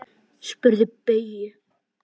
Spyrðu Bauju!